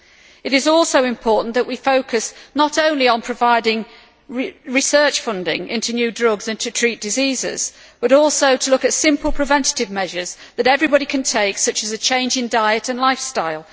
It is also important that we focus not only on providing research funding into new drugs to treat diseases, but also look at simple preventive measures that everybody can take such as a change in diet and lifestyle.